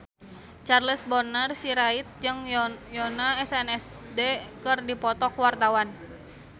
Charles Bonar Sirait jeung Yoona SNSD keur dipoto ku wartawan